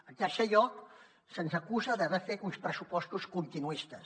en tercer lloc se’ns acusa d’haver fet uns pressupostos continuistes